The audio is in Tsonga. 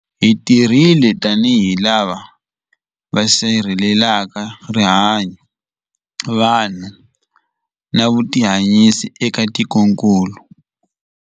Hi tirhile tanihi lava va sirhelelaka rihanyu, vanhu na vutihanyisi eka tikokulu.